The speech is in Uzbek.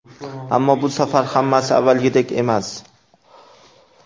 Ammo bu safar hammasi avvalgidek emas.